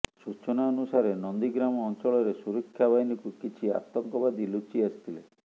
ସୂଚନାନୁସାରେ ନନ୍ଦୀଗାମ ଅଞ୍ଚଳରେ ସୁରକ୍ଷାବାହିନୀକୁ କିଛି ଆତଙ୍କବାଦୀ ଲୁଚି ଆସିଥିଲେ